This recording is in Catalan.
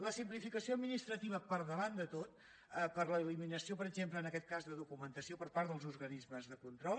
la simplificació administrativa per davant de tot per l’eliminació per exemple en aquest cas de documentació per part dels organismes de control